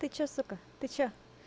ты что сука ты что